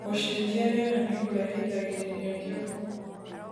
Gucenjia rĩera nikurehithagirirĩa kĩongo